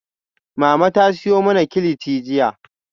Mama ta siyo mana kilichi jiya